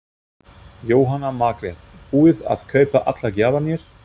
Jóhanna Margrét: Búið að kaupa allar gjafirnar?